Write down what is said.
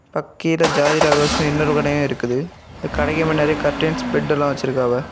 கா கீழ ஜோதி ராஜெஸ்னு இன்னொரு கடையும் இருக்குது அந்த கடைக்கு முன்னாடி கர்டைன்ஸ் பெட் எல்லா வச்சிருக்காங்க.